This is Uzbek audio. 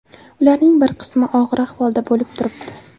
Ularning bir qismi og‘ir ahvolda bo‘lib turibdi.